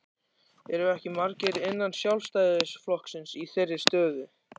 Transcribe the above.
Eru ekki margir innan Sjálfstæðisflokksins í þeirri stöðu?